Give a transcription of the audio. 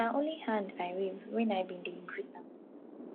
na only hand i wave wen i ben dey greet am